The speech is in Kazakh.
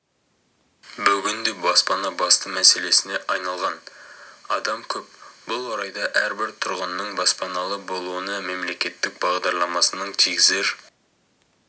бүгінде баспана басты мәселесіне айналған адам көп бұл орайда әрбір тұрғынның баспаналы болуына мемлекеттік бағдарламасының тигізер